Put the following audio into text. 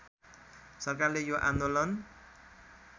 सरकारले यो आन्दोलन